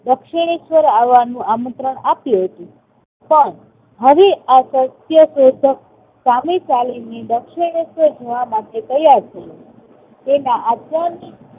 દક્ષિણેશ્વર આવવાનું આમંત્રણ આપ્યું હતું. પણ ફરી આ સત્યશોધક સામે ચાલીને દક્ષિણેશ્વર જવા માટે તૈયાર થયો. તેના